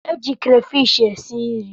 E ji krafish e si nri.